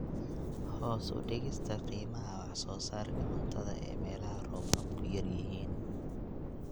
Hoos u dhigista qiimaha wax soo saarka cuntada ee meelaha roobabku yar yihiin.